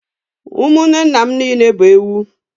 Ụmụnne nna m niile bụ ewu.